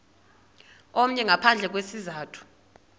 omnye ngaphandle kwesizathu